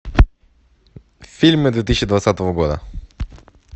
фильмы две тысячи двадцатого года